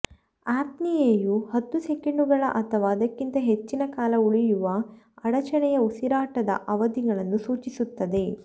ಅಪ್ನಿಯೆಯು ಹತ್ತು ಸೆಕೆಂಡುಗಳು ಅಥವಾ ಅದಕ್ಕಿಂತ ಹೆಚ್ಚಿನ ಕಾಲ ಉಳಿಯುವ ಅಡಚಣೆಯ ಉಸಿರಾಟದ ಅವಧಿಗಳನ್ನು ಸೂಚಿಸುತ್ತದೆ